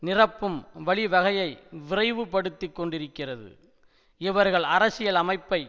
நிரப்பும் வழிவகையை விரைவுபடுத்திக் கொண்டிருக்கிறது இவர்கள் அரசியல் அமைப்பை